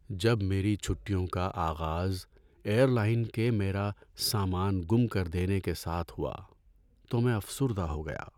‏جب میری چھٹیوں کا آغاز ایئر لائن کے میرا سامان گم کر دینے کے ساتھ ہوا تو میں افسردہ ہو گیا۔